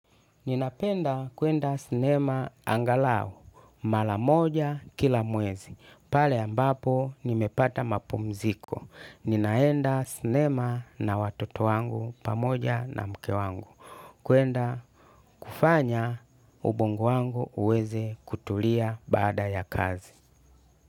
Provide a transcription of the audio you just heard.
Ninapenda kwenda sinema angalao. Mara moja kila mwezi. Pale ambapo nimepata mapumziko. Ninaenda sinema na watoto wangu pamoja na mke wangu. Kwenda kufanya ubongo wangu uweze kutulia baada ya kazi.